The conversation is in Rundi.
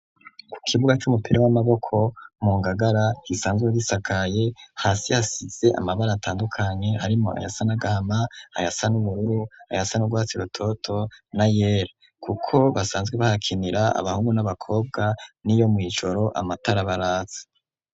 Ku kibuga c'umupira w'amaboko mu ngagara gisanzwe gisakaye hasi hasize amabara atandukanye harimwo ayasa n'agahama ayasa n'ubururu ayasa n'urwatsi rutoto na yera, kuko basanzwe bahakinira, abahungu n'abakobwa niyo mw'ijoro amatara baratsa.